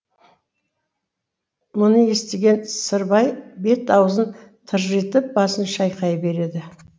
мұны естіген сырбай бет аузын тыржитып басын шайқай береді